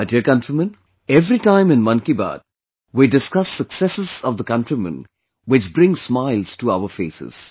My dear countrymen, every time in 'Mann Ki Baat' we discuss successes of the countrymen which bring smiles to our faces